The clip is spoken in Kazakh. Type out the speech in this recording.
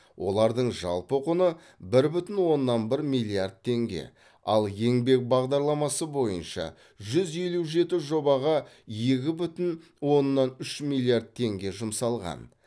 олардың жалпы құны бір бүтін оннан бір миллиард теңге ал еңбек бағдарламасы бойынша жүз елу жеті жобаға екі бүтін оннан үш миллиард теңге жұмсалған